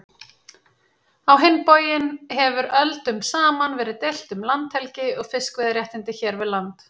Á hinn bóginn hefur öldum saman verið deilt um landhelgi og fiskveiðiréttindi hér við land.